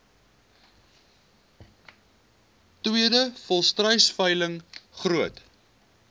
tweede volstruisveiling groot